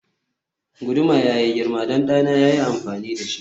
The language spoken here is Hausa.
guduma yayi girma don ɗana ya yi amfani da shi